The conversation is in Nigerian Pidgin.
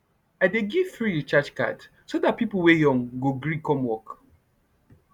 i dey give free recharge card so dat pipo wey young go gree come work